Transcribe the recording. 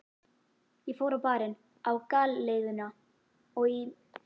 Ég fór á Barinn, á Galeiðuna og í